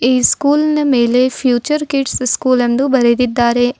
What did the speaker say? ಈ ಸ್ಕೂಲ್ನ ಮೇಲೆ ಫ್ಯೂಚರ್ ಕಿಡ್ಸ್ ಸ್ಕೂಲ್ ಎಂದು ಬರೆದಿದ್ದಾರೆ.